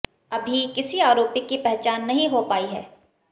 अभी किसी आरोपी की पहचान नहीं हो पाई है